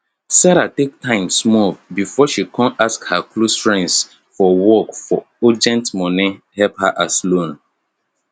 sarah take time small before she kon ask her close friends for work for urgent money help as loan